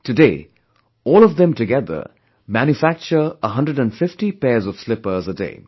Today, all of them together manufacture 150 pairs of slippers a day